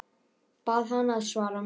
Bað hana að svara mér.